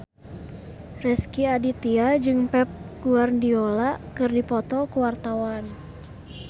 Rezky Aditya jeung Pep Guardiola keur dipoto ku wartawan